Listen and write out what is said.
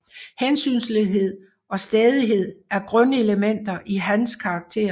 Hensynsløshed og stædighed er grundelementer i hans karakter